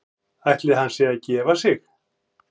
Ætli hann sé að gefa sig?